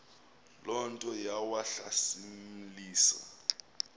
loo nto yawahlasimlisa